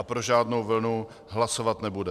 A pro žádnou vlnu hlasovat nebude.